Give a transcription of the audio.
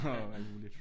Og alt muligt